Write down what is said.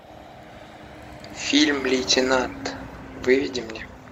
фильм лейтенант выведи мне